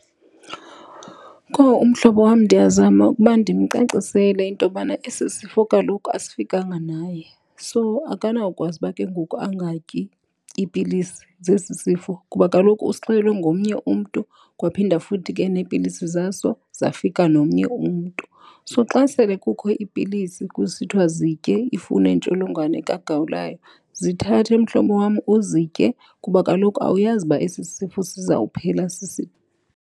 Kowu, umhlobo wam ndiyazama ukuba ndimcacisele into yobana esi sifo kaloku asifikanga naye. So, akanawukwazi uba ke ngoku angatyi iipilisi zesi sifo. Kuba kaloku usixelelwe ngomnye umntu kwaphinda futhi ke neepilisi zaso zafika nomnye umntu. So, xa sele kukho iipilisi kusithiwa zitye ifune intsholongwane kagawulayo, zithathe, mhlobo wam, uzitye kuba kaloku awuyazi uba esi sifo sizawuphela .